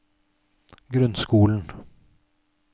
grunnskolen